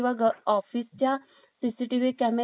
CCTV camera चे connective हे